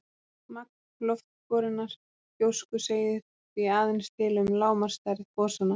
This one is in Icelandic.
Magn loftborinnar gjósku segir því aðeins til um lágmarksstærð gosanna.